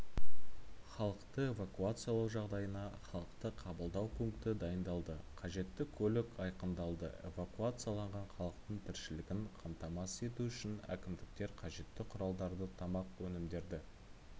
халықты эвакуациялау жағдайына халықты қабылдау пункті дайындалды қажетті көлік айқындалды эвакуацияланған халықтың тіршілігін қамтамасыз ету үшін әкімдіктер қажетті құралдарды тамақ өнімдері